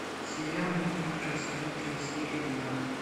сериал неуклюжая сезон три серия двенадцать